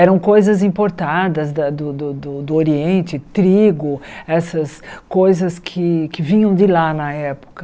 Eram coisas importadas da do do do Oriente, trigo, essas coisas que que vinham de lá na época.